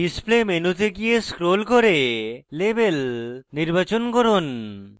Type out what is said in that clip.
display মেনুতে গিয়ে scroll করে label নির্বাচন করুন